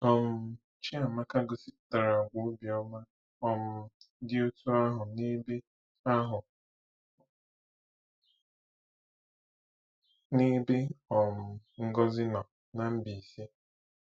um Chiamaka gosipụtara àgwà obiọma um dị otú ahụ n'ebe ahụ n'ebe um Ngozi nọ na Mbaise nọ.